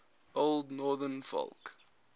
old northern folk